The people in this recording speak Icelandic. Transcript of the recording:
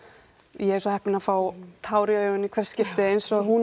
ég er svo heppin að fá tár í augun í hvert skipti eins og